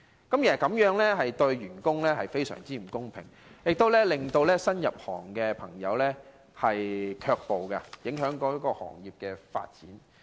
其實，這樣對員工非常不公平，亦令人不願意入行，因而影響行業發展。